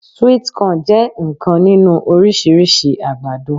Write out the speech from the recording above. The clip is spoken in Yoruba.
Sweet corn je nnkan ninu orisirisi agbado